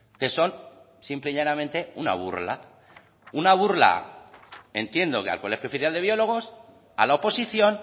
que son simple y llanamente una burla una burla entiendo que al colegio oficial de biólogos a la oposición